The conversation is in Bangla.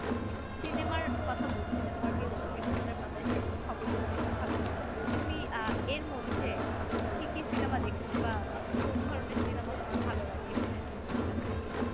সিনেমার কথা বলছিলে তোমার বিনোদনের পাতায় সিনেমার খবর গুলো দেখতে ভালো লাগে। তো তুমি আহ এর মধ্যে কি কি সিনেমা দেখছো বা কোন ধরনের সিনেমা তোমার ভালো লাগে? একটু শুনি তোমার কাছে থেকে